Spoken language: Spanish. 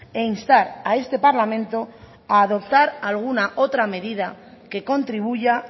e instar a este parlamento a adoptar alguna otra medida que contribuya